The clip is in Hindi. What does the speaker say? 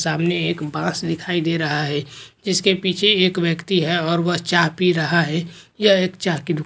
सामने एक बस दिखाई दे रहा है जिसके पीछे एक व्यक्ति है और वह चा पी रहा है यह एक चा की दु--